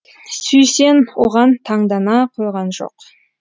сүйсен оған таңдана қойған жоқ